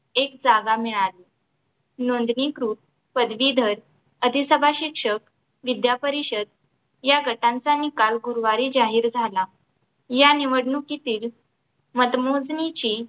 एक जागा मिळाली नोंदणीकृत पदवीधर अधिसभा शिक्षक विद्यापरिषद या गटांचा निकाल गुरुवारी जाहीर झाला या निवडणुकीतील मतमोजणीची